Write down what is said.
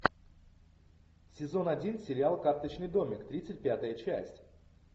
сезон один сериал карточный домик тридцать пятая часть